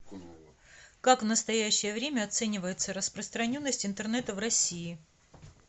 как в настоящее время оценивается распространенность интернета в россии